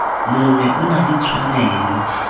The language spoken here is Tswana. mongwe o na le tshwanelo